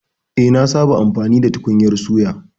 Eh, nasaba amfani da tukunyar suya